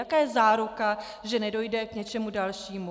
Jaká je záruka, že nedojde k něčemu dalšímu?